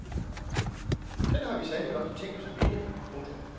Den har vi sandelig også tænkt os at vinde. punktum